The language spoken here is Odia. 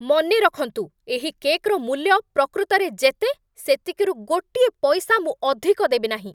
ମନେ ରଖନ୍ତୁ! ଏହି କେକ୍‌ର ମୂଲ୍ୟ ପ୍ରକୃତରେ ଯେତେ, ସେତିକିରୁ ଗୋଟିଏ ପଇସା ମୁଁ ଅଧିକ ଦେବି ନାହିଁ!